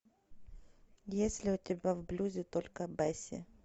есть ли у тебя в блюзе только бесси